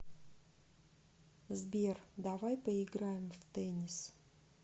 сбер давай поиграем в теннис